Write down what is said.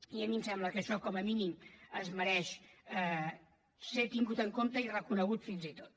i a mi em sembla que això com a mínim es mereix ser tingut en compte i reconegut fins i tot